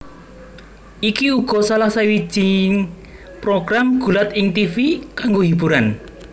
Iki uga salah sawijing program gulat ing tivi kanggo hiburan